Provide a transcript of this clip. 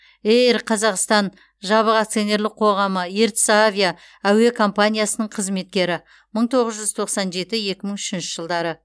эйр қазақстан жабық акционерлік қоғамы ертіс авиа әуе компаниясының қызметкері мың тоғыз жүз тоқсан жеті екі мың үшінші жылдары